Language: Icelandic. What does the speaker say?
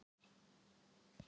Það er bara mín skoðun.